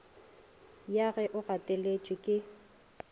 ya ge o gateletše ke